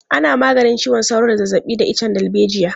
Ana maganin ciwon sauro da zazzabi da icen darbejiya.